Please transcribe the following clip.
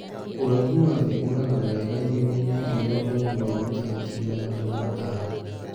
Ũraihu wa thĩ - ũragaga wega irĩma-inĩ irĩ na ũraihu wa mita ngiri na magana matano